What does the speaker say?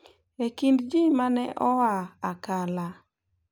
E kind ji ma ne oa Akala,